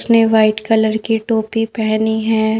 उसने white colour की टोपी पहनी है।